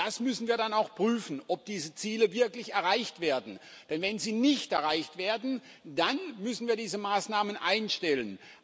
Das müssen wir dann auch prüfen, ob diese Ziele wirklich erreicht werden, denn wenn sie nicht erreicht werden, dann müssen wir diese Maßnahmen einstellen.